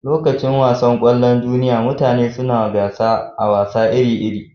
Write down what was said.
Lokacin wasan kwallon duniyya, mutane suna gasa a wasa iri-iri.